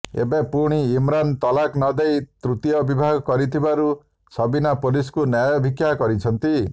ଏବେ ପୁଣି ଇମ୍ରାନ ତଲାକ୍ ନଦେଇ ତୃତୀୟ ବିବାହ କରିଥିବାରୁ ସବିନା ପୋଲିସକୁ ନ୍ୟାୟ ଭିକ୍ଷା କରିଛନ୍ତି